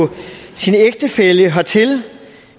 sin ægtefælle hertil